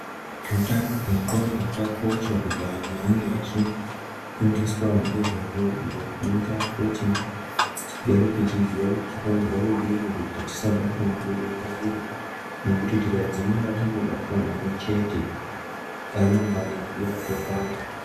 Hutano hwendxondo hwakakosha kuti vandu vange vaifundiswa ngezvahwo zvoita kuti tigare teiziva kuti tinofanirwa kudii kuti tisabatwe ngedenda iri tikangodzimara tabatwa naro chete ramangani redu ratopata.